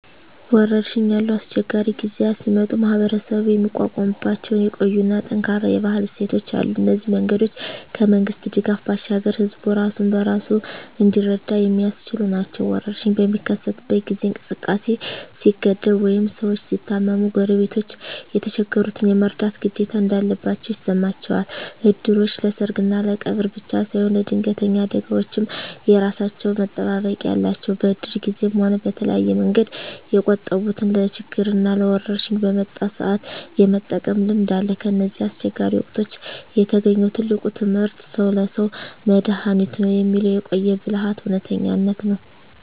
ወረርሽኝ ያሉ አስቸጋሪ ጊዜያት ሲመጡ ማኅበረሰቡ የሚቋቋምባቸው የቆዩና ጠንካራ የባህል እሴቶች አሉ። እነዚህ መንገዶች ከመንግሥት ድጋፍ ባሻገር ሕዝቡ ራሱን በራሱ እንዲረዳ የሚያስችሉ ናቸው። ወረርሽኝ በሚከሰትበት ጊዜ እንቅስቃሴ ሲገደብ ወይም ሰዎች ሲታመሙ፣ ጎረቤቶች የተቸገሩትን የመርዳት ግዴታ እንዳለባቸው ይሰማቸዋል። እድሮች ለሰርግና ለቀብር ብቻ ሳይሆን ለድንገተኛ አደጋዎችም የራሳቸው መጠባበቂያ አላቸው። በእድር ጊዜም ሆነ በተለያየ መንገድ የቆጠቡትን ለችግርና ለወረርሽኝ በመጣ ሰአት የመጠቀም ልምድ አለ። ከእነዚህ አስቸጋሪ ወቅቶች የተገኘው ትልቁ ትምህርት "ሰው ለሰው መድኃኒቱ ነው" የሚለው የቆየ ብልሃት እውነተኝነት ነው።